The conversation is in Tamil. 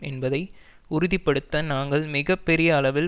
என்பதை உறுதி படுத்த நாங்கள் மிக பெரிய அளவில்